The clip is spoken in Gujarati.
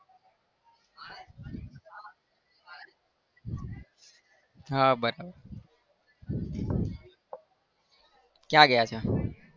હા બરાબર ક્યાં ગયા હતા?